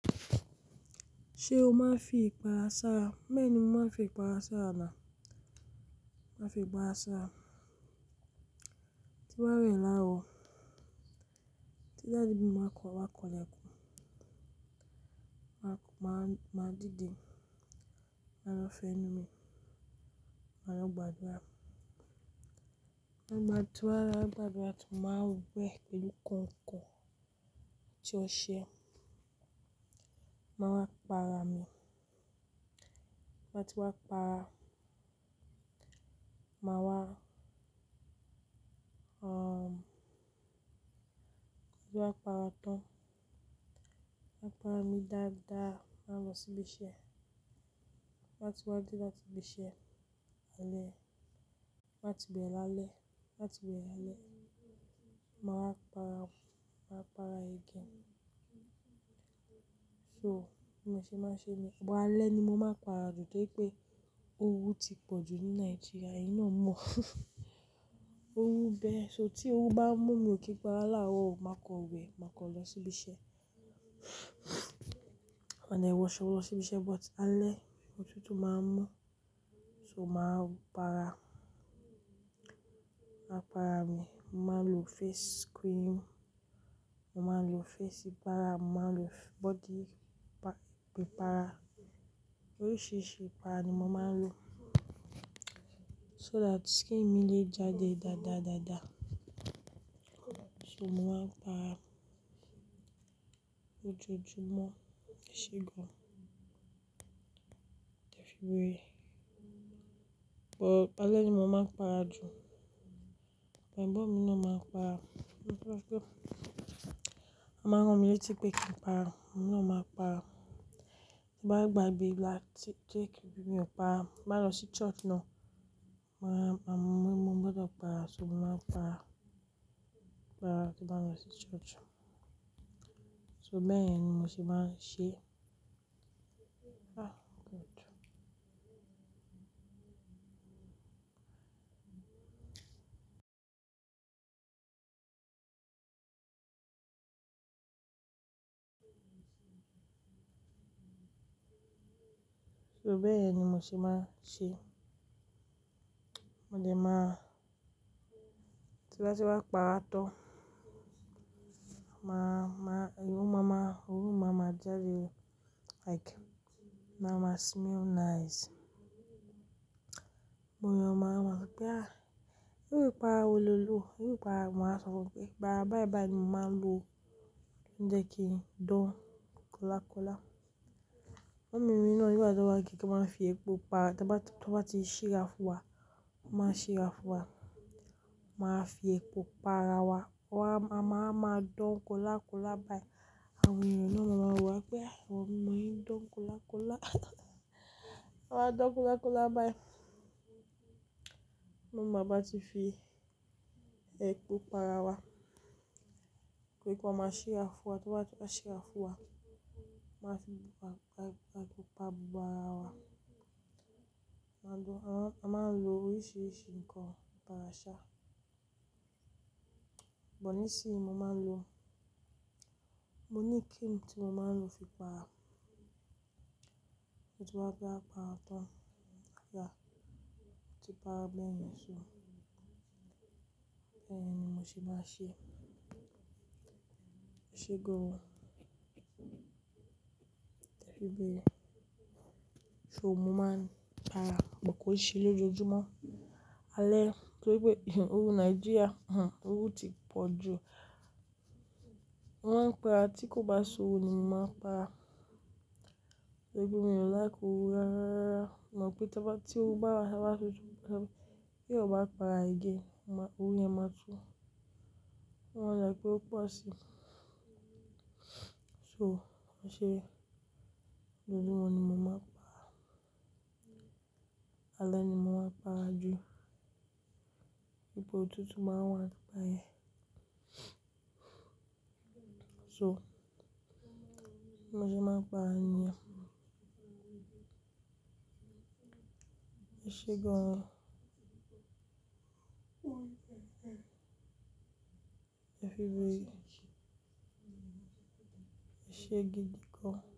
Ṣé o máa ń fi ipara sara? Bẹ́ni mó máa ń fi ipara sara náà, máa fi ipara sara. Inu awẹ̀ láwa, tí dadi mi ba wa kan ilekun máa dídè, máa lọ fẹ́nu mi, máa lọ gbádùra. Máa gbádùn wa, gbádùn wa, tún máa wẹ̀ pẹ̀lú kàinkàin atí óṣẹ. Máa wá para mi. Máa ti wá para, máa wá, ẹ́, kí ó tó wá para tán. Wá para mi dáadáa, máa lọ síbí ṣẹ. Máa ti wá dé láti bí ṣẹ alẹ́. Máa ti bẹ̀rẹ̀ lálẹ́. Máa ti bẹ̀rẹ̀ lálẹ́. Máa wá para, máa wá para again. So mo ṣe máa ń ṣe ni? But alẹ́ ni mo máa ń para jù, toripé ooru ti pọ̀ ju ní Nigeria eyìn náà mò. Oru bẹ́, so tí oru bá mú mi ò kí para láárọ̀, máa kọ wẹ̀, máa kọ lọ síbí ṣẹ. A dè wọṣọ lọ síbí ṣẹ, but alẹ́, ọ̀tútù máa ń mú, so máa para. Máa para mi, máa ń lo face cream, mo máa ń lo face para, mo máa ń lo body pa- prepare. Oríṣìíríṣìí ìpara ni mo máa ń lo, so that skin mi lè jáde dáadáa, dáadáa. So mo máa ń para ojoojúmọ́, ẹ ṣe gan. Ẹ fi béè. But alẹ́ ni mo máa ń para jù. Ẹ̀gbọn mi na máa ń para. Ó máa rán mi létí pé kí n para, òun na máa ń para. Ti bá gbagbe ibi láti tẹ ki mi ò para, bá lọ sí church náà, mo máa ń mú un gbọdọ̀ para, so mo máa ń para, para tí n bá lọ sí church. So bẹ́ẹ̀yen ni mo ṣe máa ń ṣe. Ah, good. So bẹ́ẹ̀ ni mo ṣe máa ń ṣe. Mo dẹ máa-- tí báti wá para tán, máa, máa, orú mama, orú mama jáde, like ma máa smell nice. Mo yẹn máa mọ̀ pé ah, irú ìpara olòlu, irú ìpara, máa sọ fún pé ìpara báyìí báyìí ni mo máa ń lò ń jẹ kí I don kóla kóla. Mummy mi na nígbá ti wá kí n máa fi epo para, tí wọ́n bá ti síra fún wa, wọ́n máa síra fún wa. Máa fi epo para wa, wọ́n á, màá máa don kóla kóla báyìí. Àwọn ènìyàn náà máa mọ̀ wá pé àwọn omo yí don kóla kóla. Wọ́n máa don kóla kóla báyìí. Mum wáa bá ti fi epo para wa, pé kí wọ́n máa síra fún wa, tí wọ́n bá ti wá síra fún wa, máa fi epo pupa gbó ara wa. A máa ń lo oríṣìíríṣìí nǹkan para ara ṣá. Bọ̀ ní sì í ni mo máa ń lo. Mo ní cream tí mo máa ń lo fi para. Ti ba wá para tán. Ya. Ó ti para bẹ́ẹ̀yẹn, so bẹ́ẹ̀ ni mo ṣe máa ń ṣe. Ẹ ṣe gan. Ẹ fi béè. So mo máa ń para, bọ̀ kó í ṣe lójoojúmọ́. Alẹ́, torípé oru Nigeria, hm, oru ti pọ̀ ju. Wọ́n ń para tí kò bá ṣówò ni mo máa ń para. Ẹbí mi ò like oru rárá. Mo mọ̀ pé tí wọ́n bá, tí oru bá wá ṣotùú, kí ó bá para again, oru yẹn máa tú. Wọ́n a jẹ́ kí ó po ṣí. So mo ṣe lójoojúmọ́ ni mo máa ń para. Alẹ́ ni mo máa ń para jù. Nígbà ọ̀tútù máa ń wá nigbayẹn. So, bi mo ṣe máa ń para nìyẹn. Ẹ ṣe gan. Ẹ fi béè. Ẹ ṣe gidi gan.